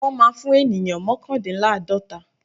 Wọ́n má́a fún ènìyàn mọ́kàndíláàdọ́ta.